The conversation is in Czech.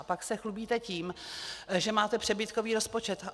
A pak se chlubíte tím, že máte přebytkový rozpočet.